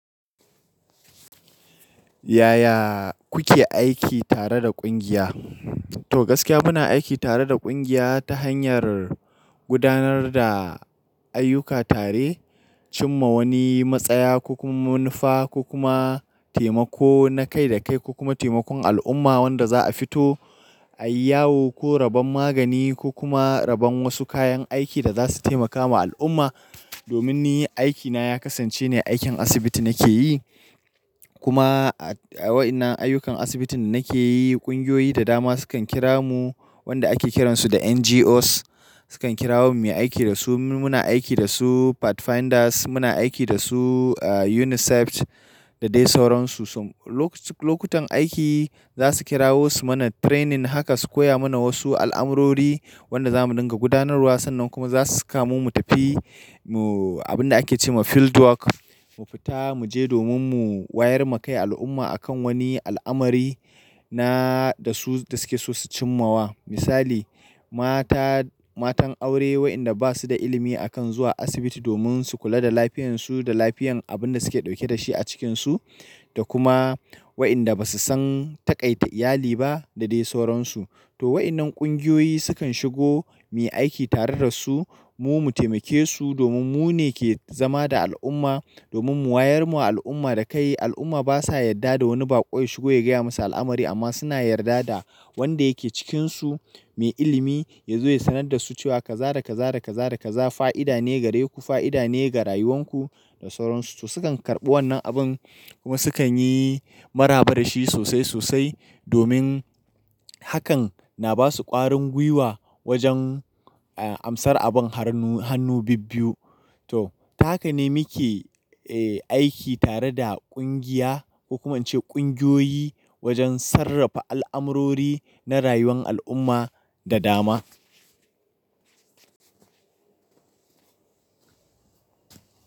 Yaya kuke aiki tare da ƙungiya? To gaskiya muna aiki tare da ƙungiya ta hanyar gudanar da ayyuka tare, cimma wani matsaya ko kuma munafa ko kuma taimako na kai da kai ko kuma taimakon al'umma wanda za'a fito, ayiyawo ko rabon magani ko kuma rabon wasu kayan aiki da za su taimaka ma al'umma. Domin ni aiki na ya kasance ne aikin asibiti nake yi. Kuma a wayannan ayyukan asibitin nake yi, ƙungiyoyi da dama sukan kira mu wanda ake kiransu da NGOs. Sukan kira wo mu mi aiki da su, mu muna aiki da su Pathfinders, muna aiki da su UNICEF da dai sauransu. Lokutan aiki za su kirawo su mana training haka su koya mana wasu al'amurori wanda za mu dinga gudanarwa sannan kuma za su saka mu mu tafi, mu abin da ake ce ma field work, mu fita mu je domin mu wayar ma kai al'umma akan wani al'amari na da su da suke so su cimmawa. Misali mata, matan aure wayanda ba su da ilimi akan zuwa asibiti domin su kula da lafiyansu da lafiyan abin da suke dauke da shi a cikinsu da kuma wayanda ba su san taƙaita iyali ba da dai sauransu. To wayannan ƙungiyoyi sukan shigo miyi aiki tare da su, mu mu taimake su domin mu ne ke zama da al'umma domin mu wayar ma al'umma da kai. Al'umma ba sa yadda da wani baƙo ya shigo ya gaya musa al'amari amma suna yarda da wanda yake cikinsu mai ilimi ya zo ya sanar da su cewa kaza da kaza da kaza da kaza fa'ida ne gare ku, fa'ida ne ga rayuwanku da sauransu. To su kan karɓi wannan abin kuma sukan yi maraba da shi sosai sosai domin hakan na ba su ƙwarin gwiwa wajen amsar abin harnu hannu bibbiyu. To tahaka ne mike aiki tare da ƙungiya, ko kuma in ce ƙungiyoyi wajen sarrafa al'amurori na rayuwan al'umma da dama.